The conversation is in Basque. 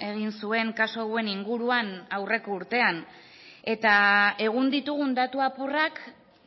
egin zuen kasu hauen inguruan aurreko urtean eta egun ditugun datu apurrak